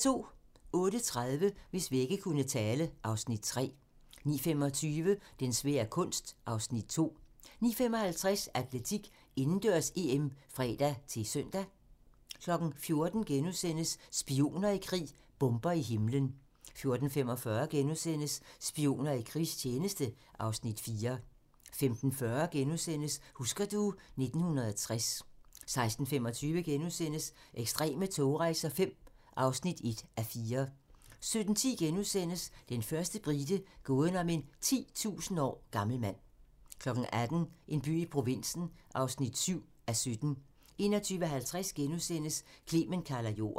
08:30: Hvis vægge kunne tale (Afs. 3) 09:25: Den svære kunst (Afs. 2) 09:55: Atletik: Indendørs-EM (fre-søn) 14:00: Spioner i krig: Bomber i himlen * 14:45: Spioner i krigstjeneste (Afs. 4)* 15:40: Husker du ... 1960 * 16:25: Ekstreme togrejser V (1:4)* 17:10: Den første brite - gåden om en 10.000 år gammel mand * 18:00: En by i provinsen (7:17) 21:50: Clement kalder jorden *